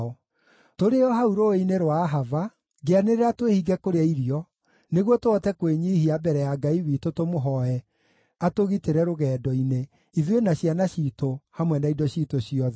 Tũrĩ o hau rũũĩ-inĩ rwa Ahava, ngĩanĩrĩra twĩhinge kũrĩa irio, nĩguo tũhote kwĩnyiihia mbere ya Ngai witũ tũmũhooe atũgitĩre rũgendo-inĩ, ithuĩ na ciana ciitũ, hamwe na indo ciitũ ciothe.